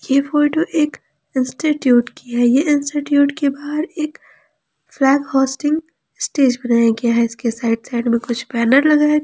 यह फोटो एक इंस्टीट्यूट की है यह इंस्टीट्यूट के बाहर एक फ्लैग होस्टिंग स्टेज बनाया गया है इसके साइड साइड में कुछ बैनर लगाए गए--